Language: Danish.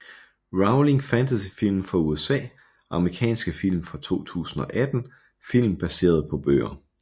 Rowling Fantasyfilm fra USA Amerikanske film fra 2018 Film baseret på bøger